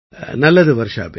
நல்லது வர்ஷாபேன்